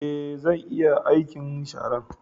Ee, zan iya aikin sharan